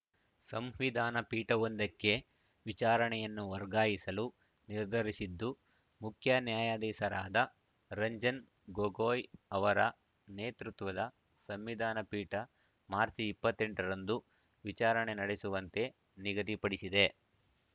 ಸಂವಿಧಾನ ಪೀಠವೊಂದಕ್ಕೆ ವಿಚಾರಣೆಯನ್ನು ವರ್ಗಾಯಿಸಲು ನಿರ್ಧರಿಸಿದ್ದು ಮುಖ್ಯ ನ್ಯಾಯಾಧೀಶರಾದ ರಂಜನ್ ಗೊಗೊಯ್ ಅವರ ನೇತೃತ್ವದ ಸಂವಿಧಾನ ಪೀಠ ಮಾರ್ಚಿ ಇಪ್ಪತ್ತ್ ಎಂಟ ರಂದು ವಿಚಾರಣೆ ನಡೆಸುವಂತೆ ನಿಗದಿ ಪಡಿಸಿದೆ